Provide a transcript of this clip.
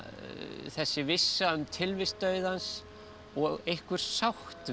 þessi vissa um tilvist dauðans og einhver sátt við